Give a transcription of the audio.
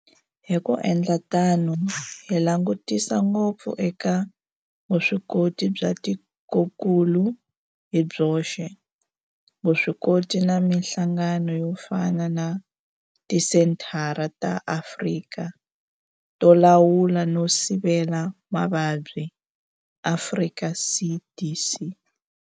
Hi ku endla tano hi langutisa ngopfu eka vuswikoti bya tikokulu hi byoxe, vuswikoti na mihlangano yo fana na Tisenthara ta Afrika to Lawula no Sivela Mavabyi, Afrika CDC.